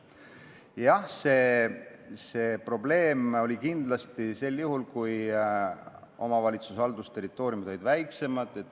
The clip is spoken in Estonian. Jah, see probleem oli siis, kui omavalitsuste haldusterritooriumid olid väiksemad.